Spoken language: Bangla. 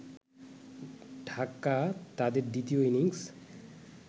ঢাকা তাদের দ্বিতীয় ইনিংস